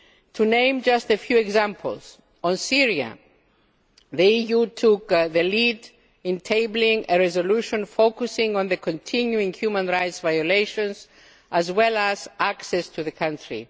forum. To name just a few examples on Syria, the EU took the lead in tabling a resolution focusing on the continuing human rights violations as well as access to the country.